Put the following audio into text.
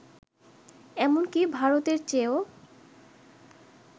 এমনকি ভারতের চেয়েও